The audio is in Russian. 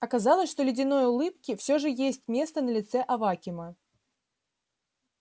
оказалось что ледяной улыбки всё же есть место на лице авакима